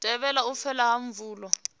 thivhele u fhela ha pfulo